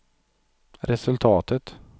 resultatet